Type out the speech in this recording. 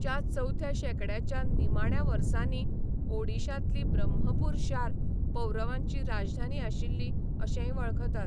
च्या चवथ्या शेंकडयाच्या निमाण्या वर्सांनी ओडिशांतली ब्रह्मपूर शार पौरवांची राजधानी आशिल्ली अशेंय वळखतात.